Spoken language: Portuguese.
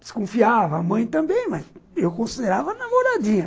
Desconfiava, a mãe também, mas eu considerava a namoradinha.